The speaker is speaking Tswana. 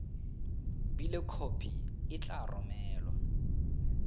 bile khopi e tla romelwa